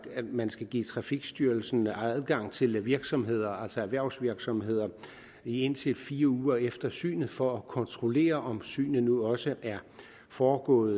at man skal give trafikstyrelsen adgang til virksomheder altså erhvervsvirksomheder i indtil fire uger efter synet for at kontrollere om synet nu også er foregået